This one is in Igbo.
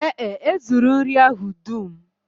Ee e, e zuru nri ahụ dum